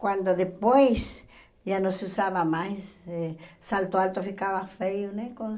Quando depois já não se usava mais, eh salto alto ficava feio, né? Com